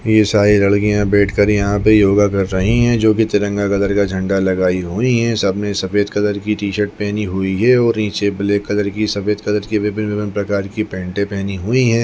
ये सारी लडकीया बैठ कर यहाँ पे योगा कर रही है जो की तिरंगा कलर का झण्डा लगाई हुई है सबने सफ़ेद कलर की टी-शर्ट पहनी हुई है नीचे ब्लैक कलर की सफ़ेद कलर विभिन्न विभिन्न प्रकार की पैनटे पहनी हुई है।